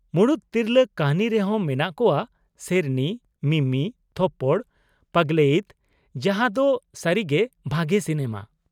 ᱢᱩᱲᱩᱫ ᱛᱤᱨᱞᱟ. ᱠᱟ.ᱦᱱᱤ ᱨᱮᱦᱚᱸ ᱢᱮᱱᱟᱜ ᱠᱚᱣᱟ ᱥᱮᱨᱱᱤ, ᱢᱤᱢᱤ, ᱛᱷᱚᱯᱯᱚᱲ, ᱯᱟᱜᱞᱮᱭᱤᱛ ᱡᱟᱦᱟᱸ ᱫᱚ ᱥᱟ.ᱨᱤᱜᱮ ᱵᱷᱟᱜᱮ ᱥᱤᱱᱮᱢᱟ ᱾